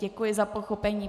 Děkuji za pochopení.